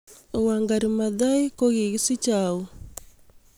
Wangari Maathai ko kikisichei au